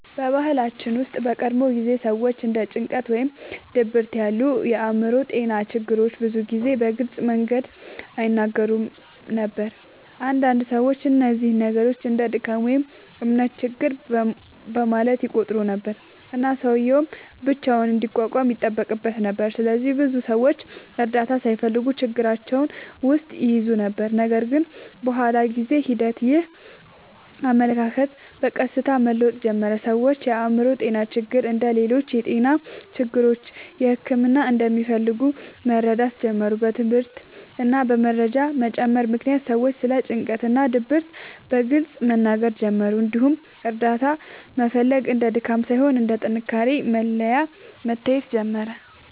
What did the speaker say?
በባህላችን ውስጥ በቀድሞ ጊዜ ሰዎች እንደ ጭንቀት ወይም ድብርት ያሉ የአእምሮ ጤና ችግሮችን ብዙ ጊዜ በግልጽ መንገድ አይነጋገሩበትም ነበር። አንዳንድ ሰዎች እነዚህን ችግሮች እንደ “ድካም” ወይም “እምነት ችግር” በማለት ይቆጥሩ ነበር፣ እና ሰውዬው ብቻውን እንዲቋቋም ይጠበቅበት ነበር። ስለዚህ ብዙ ሰዎች እርዳታ ሳይፈልጉ ችግራቸውን ውስጥ ይይዙ ነበር። ነገር ግን በኋላ በጊዜ ሂደት ይህ አመለካከት በቀስታ መለወጥ ጀመረ። ሰዎች የአእምሮ ጤና ችግሮች እንደ ሌሎች የጤና ችግሮች ሕክምና እንደሚፈልጉ መረዳት ጀመሩ። በትምህርት እና በመረጃ መጨመር ምክንያት ሰዎች ስለ ጭንቀት እና ድብርት በግልጽ መናገር ጀመሩ፣ እንዲሁም እርዳታ መፈለግ እንደ ድካም ሳይሆን እንደ ጥንካሬ መለያ መታየት ጀመረ።